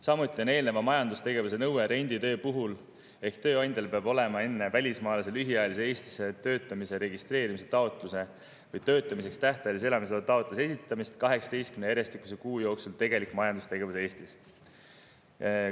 Samuti on eelneva majandustegevuse nõue ka renditöö puhul ehk tööandjal peab olema olnud enne välismaalase lühiajalise Eestis töötamise registreerimise taotluse või töötamiseks tähtajalise elamisloa taotluse esitamist 18 järjestikuse kuu jooksul tegelik majandustegevus Eestis.